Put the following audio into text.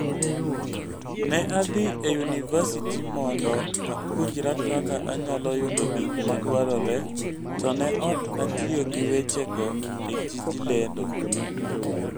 Ne adhi e yunivasiti mondo apuonjra kaka anyalo yudo gik madwarore, to ne ok atiyo gi wechego e tij lendo.